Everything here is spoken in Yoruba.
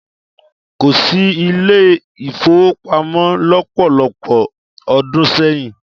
Kò sí ilé-ìfówopamọ́ lọ́pọ̀lọpọ̀ ọdún sẹ́yìn.